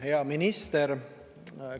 Hea minister!